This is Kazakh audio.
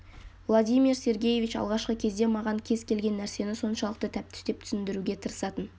владимир сергеевич алғашқы кезде маған кез келген нәрсені соншалықты тәптіштеп түсіндіруге тырысатын